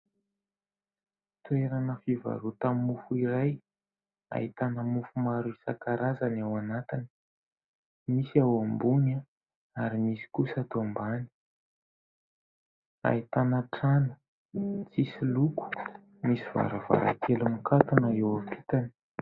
Toerana fivarota-mofo iray ahitana mofo maro isankarazany ao anatiny : nisy ao ambony ary nisy kosa ato ambany. Ahitana trano tsisy loko, misy varavarankely mikatona eo ampitany.